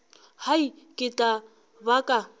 hai ke tla ba ka